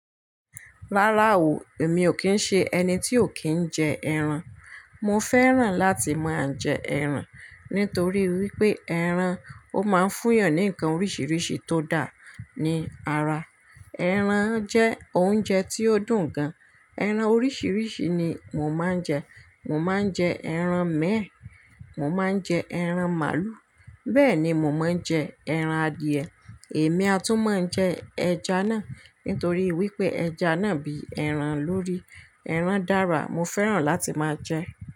Rárá o, èmi ò kí ń ṣe ẹni tí ò kí ń jẹ ẹran. Mo fẹ́ràn láti máa jẹ ẹran nítorí wípé ẹran ó máa ń fún ìyàn ní ǹkan oríṣìíríṣìí tó dáa ní ara. Ẹran jẹ́ oúnjẹ tí ó dùn gan. Ẹran oríṣìíríṣìí ni mo máa ń jẹ. Mo máa ń jẹ ẹran mẹ́ẹ́, mo máa ń jẹ ẹran màálù, bẹ́ẹ̀ ni mo máa ń jẹ ẹran adìẹ. Èmi a tún máa jẹ ẹja náà, nítorí wípé ẹja náà bí ẹran lórí. Ẹran dára mo fẹ́ràn láti máa jẹ.